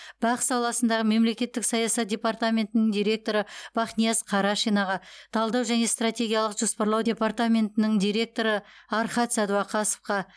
бақ саласындағы мемлекеттік саясат департаментінің директоры бахнияз карашинаға талдау және стратегиялық жоспарлау департаментінің директоры архат сәдуақасовқа